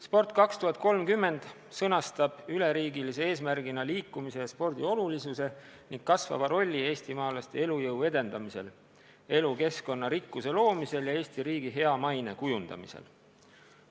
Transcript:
"Sport 2030" sõnastab üleriigilise eesmärgina liikumise ja spordi olulisuse ning kasvava rolli eestimaalaste elujõu edendamisel, elukeskkonna rikkuse loomisel ja Eesti riigi hea maine kujundamisel.